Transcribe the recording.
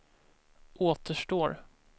återstår